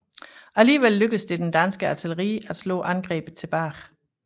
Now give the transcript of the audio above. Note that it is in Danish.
Alligevel lykkedes det det danske artilleri at slå angrebet tilbage